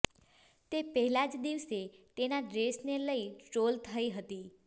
તે પહેલા જ દિવસે તેના ડ્રેસને લઈ ટ્રોલ થઈ હતી